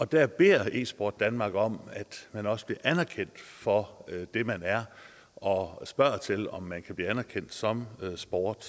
der beder esport danmark om at man også bliver anerkendt for det man er og spørger til om man kan blive anerkendt som sport